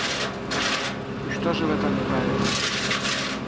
и что же в этом неправильного